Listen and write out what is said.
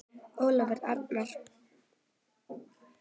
Ólafur Arnar.